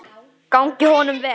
Gangi honum vel!